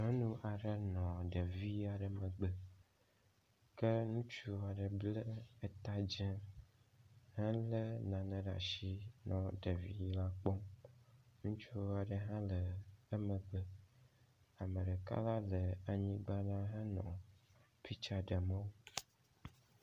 Nyɔnu aɖe nɔ ɖevi aɖe megbe ke ŋutsu aɖe ble eta dze hele nane ɖe asi nɔ ɖevi la kpɔm. Ŋutsu aɖe hã le emgbe ame ɖeka la le anyigba la henɔ pitsa ɖem wo.